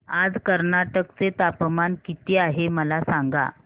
आज कर्नाटक चे तापमान किती आहे मला सांगा